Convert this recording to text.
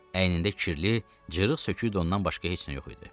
Əynində kirli, cırıq sökük donundan başqa heç nə yox idi.